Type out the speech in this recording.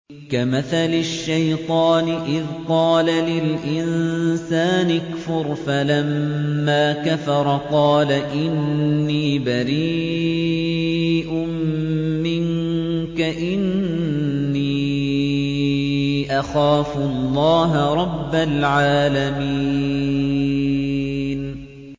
كَمَثَلِ الشَّيْطَانِ إِذْ قَالَ لِلْإِنسَانِ اكْفُرْ فَلَمَّا كَفَرَ قَالَ إِنِّي بَرِيءٌ مِّنكَ إِنِّي أَخَافُ اللَّهَ رَبَّ الْعَالَمِينَ